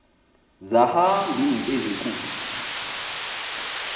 zahamb iint ezinkulu